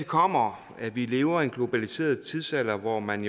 kommer at vi lever i en globaliseret tidsalder hvor man